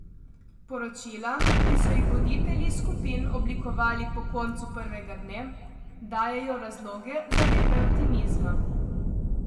Poročila, ki so jih voditelji skupin oblikovali po koncu prvega dne, dajejo razloge za nekaj optimizma.